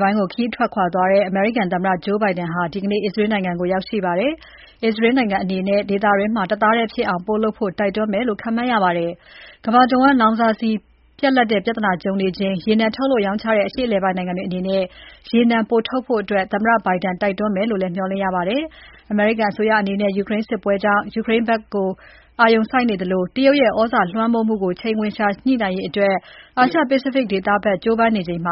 ပိုင်းကို ခရီးထွက်ခွာသွားတဲ့ အမေရိကန်သမ္မတ Joe Biden ဟာ ဒီကနေ့ အစ္စရေးနိုင်ငံကို ရောက်ရှိပါတယ်။ အစ္စရေးနိုင်ငံအနေနဲ့ ဒေသတွင်းမှာ တသားတည်းဖြစ်အောင် ပိုလုပ်ဖို့တိုက်တွန်းမယ်လို့ ခန့်မှန်းရပါတယ်။ ကမ္ဘာတဝန်း လောင်စာဆီပြဿနာကြုံနေချိန် ရေနံထုတ်လုပ်ရောင်းချတဲ့ အရှေ့ အလယ်ပိုင်းနိုင်ငံတွေအနေနဲ့ ရေနံပိုထုတ်ဖို့ သမ္မတ Biden တိုက်တွန်းမယ်လို့ လည်း မျှော်လင့်ရပါတယ်။ အမေရိကန်အစိုးရအနေနဲ့ ယူကရိန်းစစ်ပွဲကြောင့် ယူကရိန်းဘက်က အာရုံစိုက်နေသလို တရုတ်ရဲ့ သြဇာလွှမ်းမိုးမှုကို ချိန်ခွင်လျှာညှိနိုင်ရေး အာရှ Pacific ဒေသဘက် ကြိုးပမ်းနေချိန်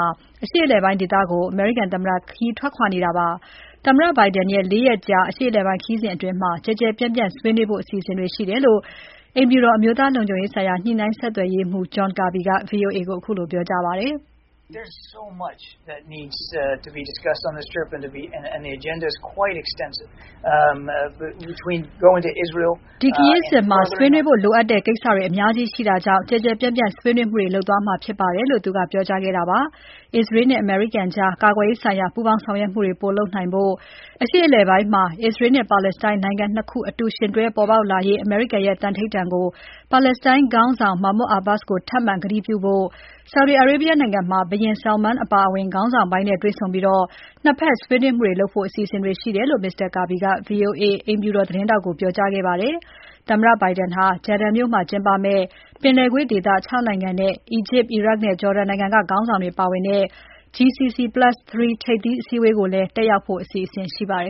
အရှေ့အလယ်ပိုင်းဒေသကို အမေရိကန်သမ္မတ ခရီးထွက်ခွာနေတာဖြစ်ပါတယ်။ သမ္မတ Biden ရဲ့ ၄ ရက်ကြာ အရှေ့အလယ်ပိုင်း ခရီးစဉ်အတွင်း ကျယ်ကျယ်ပြန့်ပြန့်ဆွေးနွေးဖို့ အစီအစဉ်ရှိတယ်လို့ အိမ်ဖြူတော် အမျိုးသားလုံခြုံရေးဆိုင်ရာ ညှိနှိုင်း ဆက်သွယ်ရေးမှူး John Kirby က VOA ပြောကြားပါတယ်။ ဒီခရီးစဉ်မှာ ဆွေးနွေးဖို့လိုတဲ့ကိစ္စတွေအများကြီးရှိတာကြောင့် ကျယ်ကျယ်ပြန့်ပြန့် ဆွေးနွေးမှုတွေ လုပ်သွားမှာဖြစ်ပါတယ်လို့ ပြောကြားခဲ့တာပါ။ အစ္စရေးနဲ့အမေရိကန်ကြား ကာကွယ်ရေးဆိုင်ရာ ပူးပေါင်းဆောင်ရွက်မှုတွေ ပိုလုပ်နိုင်ဖို့၊ အရှေ့အလယ်ပိုင်းမှာ အစ္စရေးနဲ့ပါလက်စတိုင်း နိုင်ငံ ၂ ခု အတူ ယှဉ်တွဲပေါ်ပေါက်လာရေး အမေရိကန်ရဲ့သန္နိဌာန်ကို ပါလက်စတိုင်းခေါင်းဆောင် Mahmoud Abbas ကို ထပ်မံကတိပြုဖို့၊ Saudi Arabia နိုင်ငံမှာ ဘုရင် Salman အပါအဝင် ခေါင်းဆောင်ပိုင်းနဲ့တွေ့ဆုံပြီး ၂ ဘက်ဆွေးနွေးမှုတွေလုပ်ဖို့ အစီအစဉ်တွေရှိတယ်လို့ Mr. Kirby က VOA အိမ်ဖြူတော် သတင်းထောက်ကို ပြောကြားခဲ့ပါတယ်။ သမ္မတ Biden ဟာ Jeddah မြို့မှာကျင်းပမယ့် ပင်လယ်ကွေ့ဒေသ ၆ နိုင်ငံနဲ့ အီဂျစ်၊ အီရတ်နဲ့ ဂျော်ဒန်နိုင်ငံက ခေါင်းဆောင်တွေ ပါဝင်တဲ့ GCC+3 ထိပ်သီး အစည်းအဝေးကို တက်ရောက်ဖို့လည်း အစီအစဉ်ရရှိပါတယ်